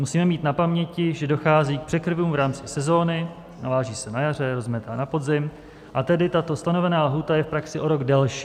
Musíme mít na paměti, že dochází k překryvům v rámci sezony, naváží se na jaře, rozmetá na podzim, a tedy tato stanovená lhůta je v praxi o rok delší.